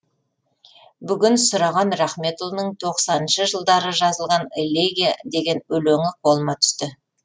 бүгін сұраған рахметұлының тоқсаныншы жылдары жазылған элегия деген өлеңі қолыма түсті